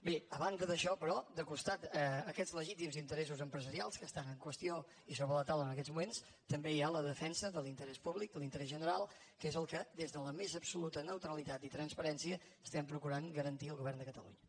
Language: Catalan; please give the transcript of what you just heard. bé a banda d’això però de costat a aquests legítims interessos empresarials que estan en qüestió i sobre la taula en aquests moments també hi ha la defensa de l’interès públic de l’interès general que és el que des de la més absoluta neutralitat i transparència estem procurant garantir el govern de catalunya